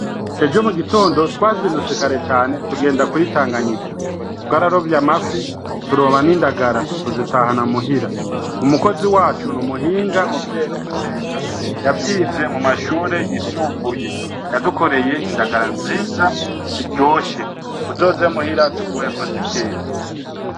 Ejo mu gitondo twazindutse kare cane tugenda kuri tanganyika, twararovye amafi turoba n'indagara tuzitahana muhira, Umukozi wacu n'umuhinga mu bijanye n'uguteka yavyize mu mashuri y'isumbuye yadukoreye indagara nziza ziryoshe. Uzoze muhira tuguheko zikeya.